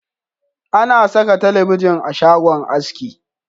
A na saka talabijin a shagon haski